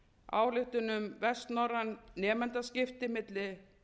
ályktun um vestnorræn nemendaskipti milli